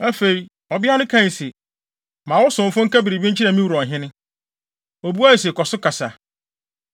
Afei, ɔbea no kae se, “Ma wo somfo nka biribi nkyerɛ me wura ɔhene.” Obuae se, “Kɔ so kasa.”